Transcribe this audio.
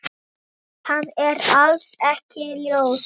Það er alls ekki ljóst.